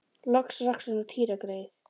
Loks rakst hún á Týra greyið.